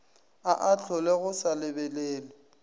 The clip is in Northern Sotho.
a ahlolwe go sa lebelelwe